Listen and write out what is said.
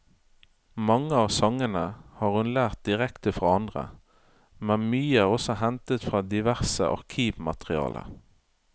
Mange av sangene har hun lært direkte fra andre, men mye er også hentet fra diverse arkivmateriale.